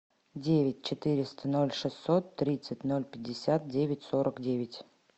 девять четыреста ноль шестьсот тридцать ноль пятьдесят девять сорок девять